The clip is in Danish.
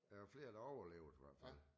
Der er flere der er overlevet i hvert fald